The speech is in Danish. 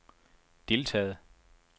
deltaget